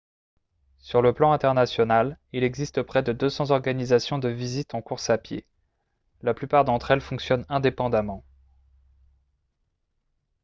sur le plan international il existe près de 200 organisations de visite en course à pied la plupart d'entre elles fonctionnent indépendamment